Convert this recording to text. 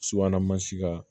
Subahana mansi kan